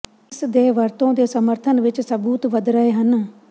ਇਸ ਦੇ ਵਰਤੋਂ ਦੇ ਸਮਰਥਨ ਵਿੱਚ ਸਬੂਤ ਵਧ ਰਹੇ ਹਨ